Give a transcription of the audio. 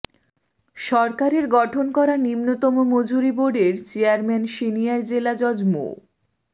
সরকারের গঠন করা নিম্নতম মজুরি বোর্ডের চেয়ারম্যান সিনিয়র জেলা জজ মো